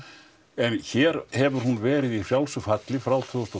en hér hefur hún verið í frjálsu falli frá tvö þúsund